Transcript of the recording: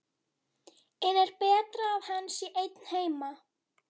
En er betra að hann sé einn heima?